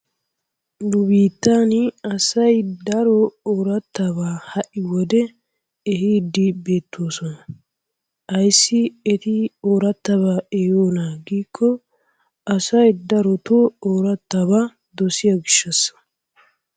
Nu biittan asay daro oorattabaa ha'i wode ehiiddi beettoosona. Ayssi eti oorattabaa ehiiyonaa giikko asay darotoo oorattabaa dossiyo gishassa.